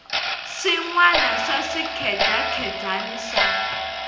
swin wana swa swikhedzakhedzani swa